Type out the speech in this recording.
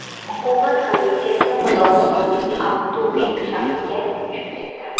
Hukumat komissiyasi Qozog‘istonning Aqto‘be shahriga uchib ketdi.